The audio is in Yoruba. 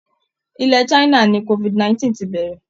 Ilẹ̀ China ni COVID 19 ti bẹ̀rẹ̀